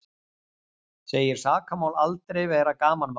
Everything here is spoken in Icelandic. Segir sakamál aldrei vera gamanmál